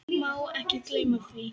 Má ekki gleyma því.